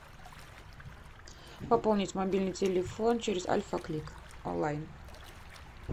пополнить мобильный телефон через альфа клик онлайн